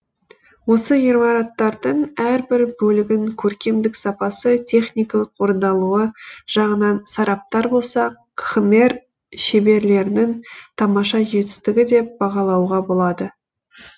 осы ғимараттардың әрбір бөлігін көркемдік сапасы техникалық орындалуы жағынан сараптар болсақ кхмер шеберлерінің тамаша жетістігі деп бағалауға болады